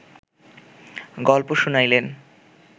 গল্প শুনাইলেন